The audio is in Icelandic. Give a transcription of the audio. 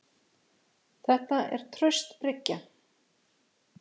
Þetta er traust bryggja.